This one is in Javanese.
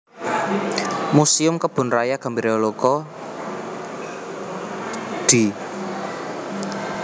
Muséum Kebun Raya Gembiraloka Dl